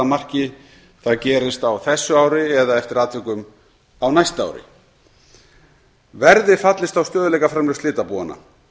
marki það gerist á þessu ári eða eftir atvikum á næsta ári verði fallist á stöðugleikaframlög slitabúanna